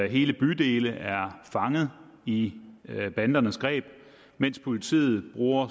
hele bydele er fanget i bandernes greb mens politiet bruger